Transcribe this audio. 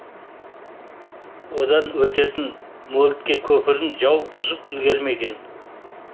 одан өтетін мольтке көпірін жау бұзып үлгермеген